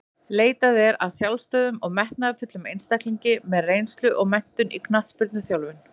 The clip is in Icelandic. Leitað er að sjálfstæðum og metnaðarfullum einstaklingum með reynslu og menntun í knattspyrnuþjálfun.